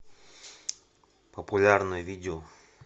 популярное видео